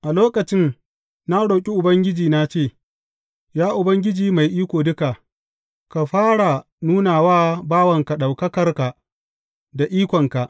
A lokacin, na roƙi Ubangiji na ce, Ya Ubangiji Mai Iko Duka, ka fara nuna wa bawanka ɗaukakarka da ikonka.